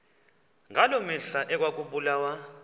ngaloo mihla ekwakubulawa